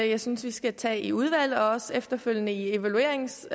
jeg synes vi skal tage op i udvalget og også efterfølgende i evalueringsfasen